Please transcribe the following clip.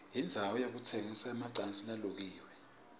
indzawo yekutsengisa emacansi lalukiwe